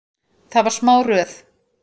Það var smá röð.